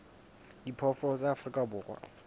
a diphoofolo tsa afrika borwa